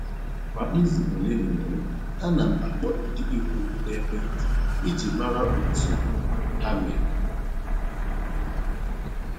Kwa izu ole na ole, ana m akpọ ndị ikwu m n'ekwentị iji mara otu ha mere